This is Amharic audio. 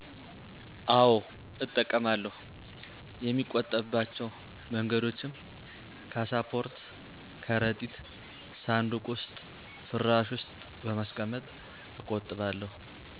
አወ እጠቀማለሁ የሚቆጠብ ባቸው መንገዶችም ካሳፖርት፣ ከረጢት፣ ሳንዱቅ ዉስጥ፣ ፍራሽ ዉስጥ በማስቀመጥ እቆጥባለሁ።